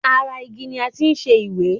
Ara igi ni a ti ń ṣẹ ìwé.